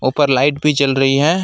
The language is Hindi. ऊपर लाइट भी जल रही है।